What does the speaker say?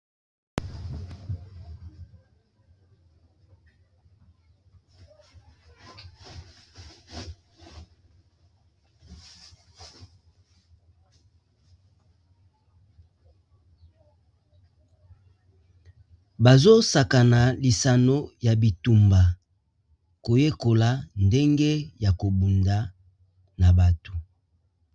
Bazo sakana lisano ya bitumba koyekola ndenge ya kobunda na bato.